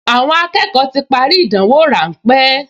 Àwọn akẹ́kọ̀ọ ti parí ìdánwò ráńpẹ́